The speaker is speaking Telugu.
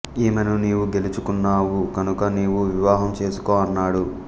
ఈమెను నీవు గెలుచు కున్నావు కనుక నీవు వివాహం చేసుకో అన్నాడు